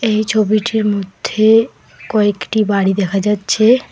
এই ছবিটির মধ্যে কয়েকটি বাড়ি দেখা যাচ্ছে।